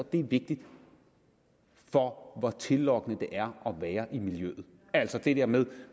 det er vigtigt for hvor tillokkende det er at være i miljøet altså det der med